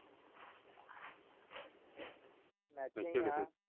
ਮੈਂ .